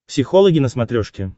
психологи на смотрешке